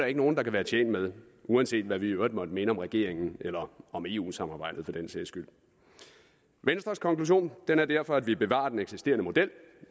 ikke nogen der kan være tjent med uanset hvad vi i øvrigt måtte mene om regeringen eller eu samarbejdet for den sags skyld venstres konklusion er derfor at vi bevarer den eksisterende model